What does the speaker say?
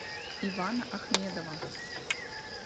ивана ахмедова